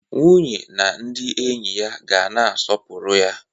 Nwunye na ndị enyi ya ga na-aspopụrụ ya.